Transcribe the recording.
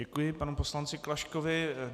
Děkuji panu poslanci Klaškovi.